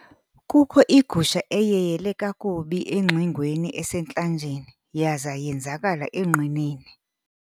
Kukho igusha eyeyele kakubi engxingweni esentlanjeni yaza yenzakala enqineni.